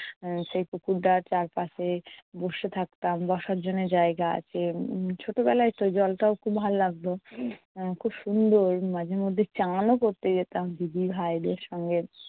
সেই পুকুরটার চারপাশে বসে থাকতাম। বসার জন্যে জায়গা আছে। উম ছোট বেলায় তো জলটাও খুব ভালো লাগতো। খুব সুন্দর, মাঝে মধ্যে চানও করতে যেতাম দিদিভাইদের সঙ্গে।